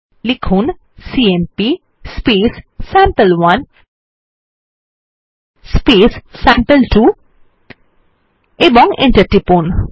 লিখুন CMP sample one sample two এবং enter টিপুন